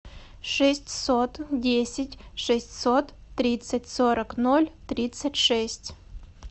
шестьсот десять шестьсот тридцать сорок ноль тридцать шесть